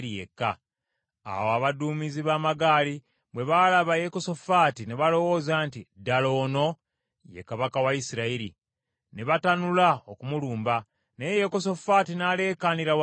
Awo abaduumizi b’amagaali bwe baalaba Yekosafaati, ne balowooza nti, “Ddala ono ye kabaka wa Isirayiri.” Ne batanula okumulumba, naye Yekosafaati n’aleekaanira waggulu,